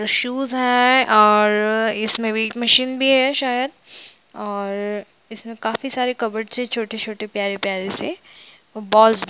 shoes है और इसमे वैक मशीन भी हैशायद और इसमे काफी सारे कबर्ड से छोटे-छोटे प्यारे प्यारे से बॉल्स --